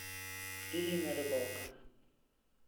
ириной рыбалко